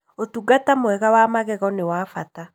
ũtungata mwega wa magego nĩ wa bata